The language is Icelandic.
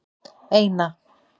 eina